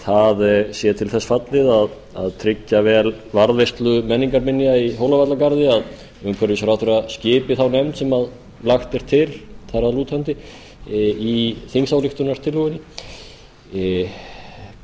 það sé til þess fallið að tryggja varðveislu menningarminja í hólavallagarði að umhverfisráðherra skipi á nefnd sem lagt er til þar að lútandi í þingsályktunartillögunni